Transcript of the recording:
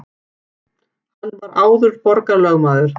Hann var áður borgarlögmaður